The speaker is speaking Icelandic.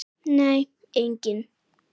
Nei engin.